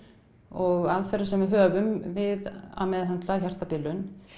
og aðferðum sem við höfum við að meðhöndla hjartabilun